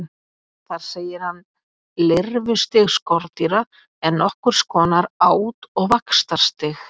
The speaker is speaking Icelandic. Þar segir hann: Lirfustig skordýra er nokkurs konar át- og vaxtarstig.